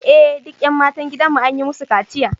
Eh duk ’yan matan gidanmu an yi musu kaciya